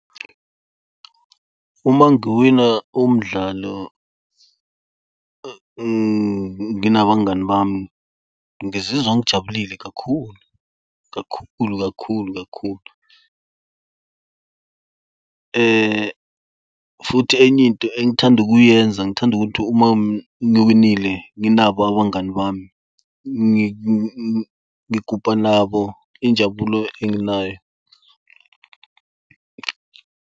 Uma ngiwina umdlalo nginabangani bami ngizizwa ngijabulile kakhulu, kakhulu, kakhulu, kakhulu, futhi eny'into engithanda ukuyenza, ngithanda ukuthi uma ngiwinile nginabo abangani bami ngigubha nabo injabulo enginayo.